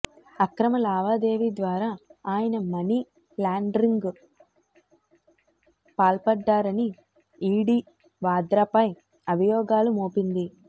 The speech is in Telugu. అక్రమ లావాదేవీ ద్వారా ఆయన మనీ ల్యాండరింగ్కు పాల్పడ్డారని ఈడీ వాద్రాపై అభియోగాలు మోపింది